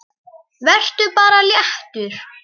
Vertu bara léttur!